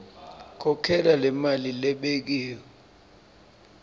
khokhela lemali lebekiwe